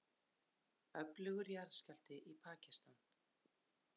Öflugur jarðskjálfti í Pakistan